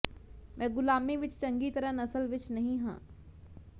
ਮੈਂ ਗ਼ੁਲਾਮੀ ਵਿੱਚ ਚੰਗੀ ਤਰ੍ਹਾਂ ਨਸਲ ਵਿੱਚ ਨਹੀਂ ਹਾਂ